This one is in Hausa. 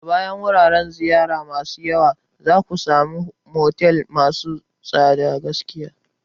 A bayan wuraren ziyara masu yawa, za ku sami motel masu tsadar gaske.